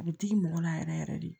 A bɛ digi mɔgɔ la yɛrɛ yɛrɛ de